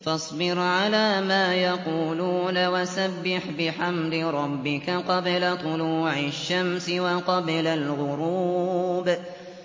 فَاصْبِرْ عَلَىٰ مَا يَقُولُونَ وَسَبِّحْ بِحَمْدِ رَبِّكَ قَبْلَ طُلُوعِ الشَّمْسِ وَقَبْلَ الْغُرُوبِ